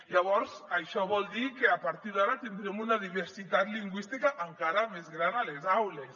llavors això vol dir que a partir d’ara tindrem una diversitat lingüística encara més gran a les aules